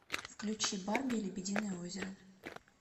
включи барби и лебединое озеро